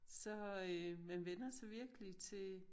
Så øh man vænner sig virkelig til